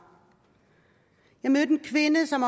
jeg mødte en kvinde som